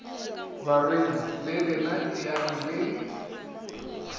barwedi le lena eyang le